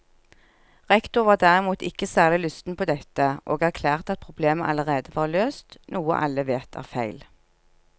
Rektor var derimot ikke særlig lysten på dette, og erklærte at problemet allerede var løst, noe alle vet er feil.